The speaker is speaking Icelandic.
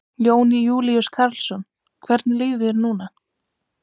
Jón Júlíus Karlsson: Hvernig líður þér núna?